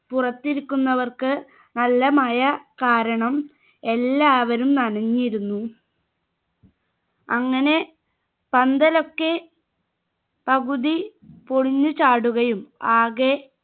പുറത്തിരിക്കുന്നവർക്ക് നല്ല മഴ കാരണം എല്ലാവരും നനഞ്ഞിരുന്നു അങ്ങനെ പന്തലൊക്കെ പകുതി പൊളിഞ്ഞ് ചാടുകയും ആകെ